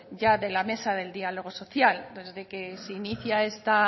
ya de la mesa del diálogo social desde que se inicia